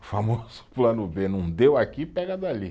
O famoso plano bê, não deu aqui, pega dali.